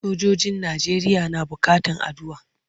Sojojin Najeriya na buƙatan addu'a.